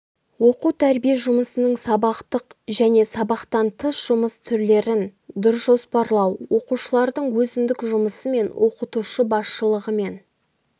оқу-тәрбие жұмысының сабақтық және сабақтан тыс жұмыс түрлерін дұрыс жоспарлау оқушылардың өзіндік жұмысы мен оқытушы басшылығымен